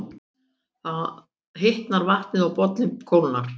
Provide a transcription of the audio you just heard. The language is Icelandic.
Þá hitnar vatnið og bollinn kólnar.